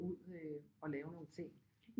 Ud øh og lave nogle ting